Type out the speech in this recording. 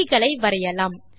புள்ளிகளை வரையலாம்